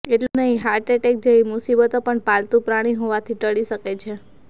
એટલું જ નહીં હાર્ટ એટેક જેવી મુસીબતો પણ પાલતુ પ્રાણી હોવાથી ટળી શકે છે